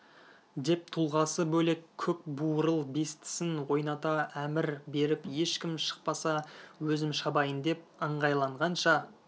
деп тұлғасы бөлек көк буырыл бестісін ойната әмір беріп ешкім шықпаса өзім шабайын деп ыңғайланғанша